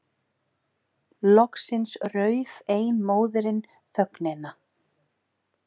Loksins rauf ein móðirin þögnina.